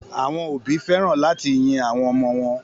Àwọn òbí fẹ́ràn láti yin àwọn ọmọ wọn.